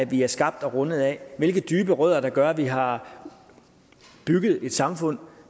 vi er skabt og rundet af hvilke dybe rødder der gør at vi har bygget et samfund